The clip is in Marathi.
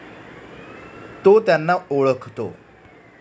तो त्यांना ओळखतो.